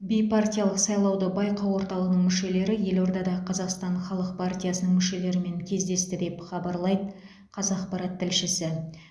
бейпартиялық сайлауды байқау орталығының мүшелері елордада қазақстан халық партиясының мүшелерімен кездесті деп хабарлайды қазақпарат тілшісі